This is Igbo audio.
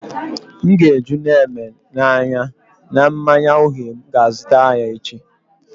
M ga-eju Neme na anya na mmanya uhie m ga azutara ya echi